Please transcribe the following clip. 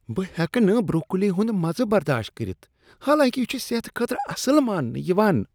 بہٕ ہیٚکہٕ نہٕ بروکولی ہنٛد مزٕ برداشت کٔرتھ حالانکہ یہ چھ صحت خٲطرٕ اصل ماننہٕ یوان۔